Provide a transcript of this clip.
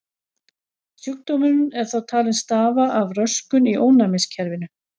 Sjúkdómurinn er þó talinn stafa af röskun í ónæmiskerfinu.